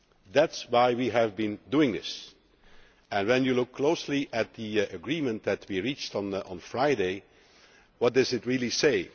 That is why we have been doing this and when you look closely at the agreement that we reached on Friday, what does it really say?